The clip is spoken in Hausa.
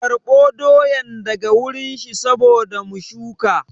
Karɓo doyan daga wurin shi saboda mu shuka